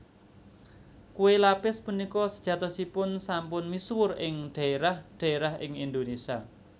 Kué lapis punika sejatosipun sampun misuwur ing dhaérah dhaérah ing Indonésia